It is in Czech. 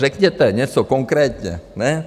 Řekněte něco konkrétně, ne?